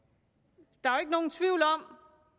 der er jo ikke nogen tvivl om